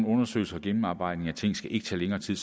undersøgelser og gennemarbejdninger af ting skal ikke tage længere tid